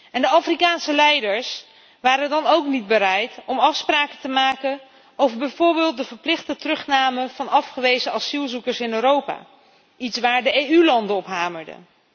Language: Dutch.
En de Afrikaanse leiders waren dan ook niet bereid om afspraken te maken over bijvoorbeeld de verplichte terugname van afgewezen asielzoekers in Europa, iets waar de EU landen op hamerden.